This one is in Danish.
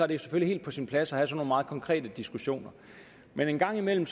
det selvfølgelig helt på sin plads at have sådan nogle meget konkrete diskussioner men en gang imellem